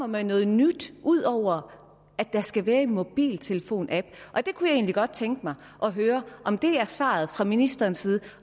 med noget nyt ud over at der skal være en mobiltelefonapp jeg kunne egentlig godt tænke mig at høre om det er svaret fra ministerens side